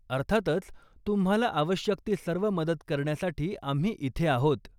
अर्थातच! तुम्हाला आवश्यक ती सर्व मदत करण्यासाठी आम्ही इथे आहोत.